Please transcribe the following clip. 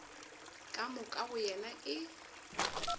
ka moka go yena e